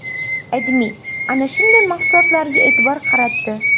AdMe ana shunday mahsulotlarga e’tibor qaratdi .